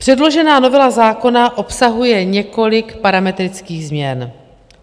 Předložená novela zákona obsahuje několik parametrických změn.